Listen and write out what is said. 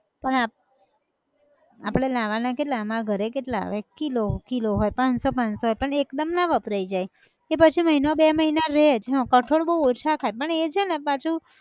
પણ આપ, આપણે લાવાના કેટલા આમાં ઘરે કેટલા આવે? એક kilo kilo હોય પાંચસો પાંચસો હોય પણ એકદમ ના વપરાય જાય, કે પછી મહિનો બે મહિના રેહ જ, હં કઠોળ બઉ ઓછા ખાય પણ એ છે ન પાછું